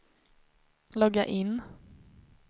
logga in